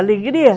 Alegria?